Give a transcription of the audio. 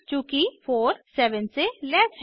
चूँकि 47 से लेस है